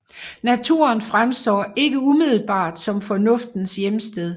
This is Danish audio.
Naturen fremstår ikke umiddelbart som Fornuftens hjemsted